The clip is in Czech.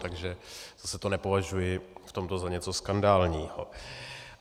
Takže zase to nepovažuji v tomto za něco skandálního.